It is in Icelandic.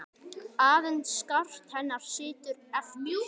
Aðeins skart hennar situr eftir.